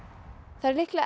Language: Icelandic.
það eru líklega